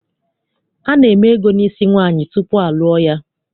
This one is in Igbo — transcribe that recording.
Ana-eme ego n'isi nwaanyị tupu a lụọ ya.